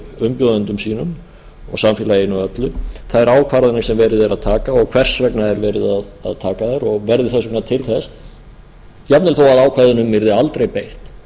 umbjóðendum sínum og samfélaginu öllu þær ákvarðanir sem verið er að taka og hvers vegna er verið að taka þær og verði þess vegna til þess jafnvel þó að ákvæðunum yrði aldrei beitt